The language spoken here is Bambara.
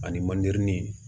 Ani mande ni